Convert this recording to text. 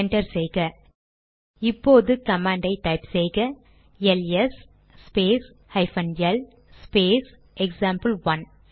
enter செய்க இப்போது command type செய்க L S space hyphen L space example one